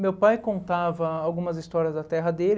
Meu pai contava algumas histórias da terra dele.